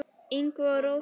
Ingvi og Rósa.